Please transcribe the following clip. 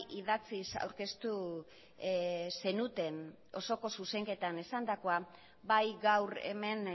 idatziz aurkeztu zenuten osoko zuzenketan esandakoa bai gaur hemen